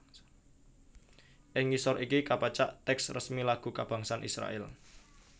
Ing ngisor iki kapacak tèks resmi lagu kabangsan Israèl